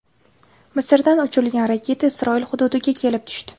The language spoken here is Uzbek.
Misrdan uchirilgan raketa Isroil hududiga kelib tushdi.